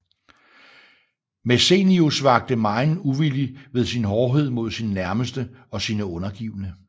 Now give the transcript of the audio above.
Messenius vakte megen uvilje ved sin hårdhed mod sine nærmeste og sine undergivne